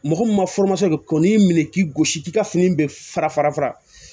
Mɔgɔ min ma ko n'i y'i minɛ k'i gosi k'i ka fini bɛ fara fara fara